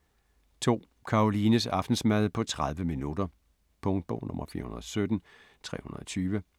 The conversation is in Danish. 2. Karolines aftensmad på 30 min. Punktbog 417320